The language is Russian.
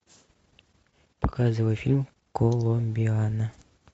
показывай фильм коломбиана